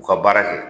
U ka baara kɛ